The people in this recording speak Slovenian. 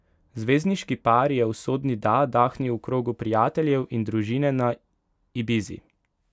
Zvezdniški par je usodni da dahnil v krogu prijateljev in družine na Ibizi.